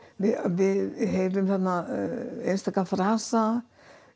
við heyrum þarna einstaka frasa